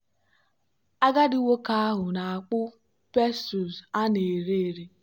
agadi nwoke ahụ na-akpụ pestles a na-ere ere.